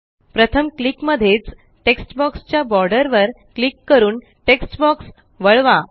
प्रथम क्लिक मध्येच text box च्या बोर्डरवर क्लिक करून टेक्स्ट बॉक्स वळवा